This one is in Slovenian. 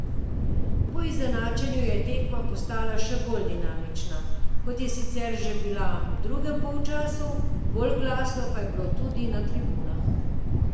Po izenačenju je tekma postala še bolj dinamična, kot je sicer že bila v drugem polčasu, bolj glasno pa je bilo tudi na tribunah.